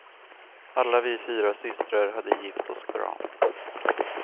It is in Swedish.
Alla vi fyra systrar hade gift oss bra.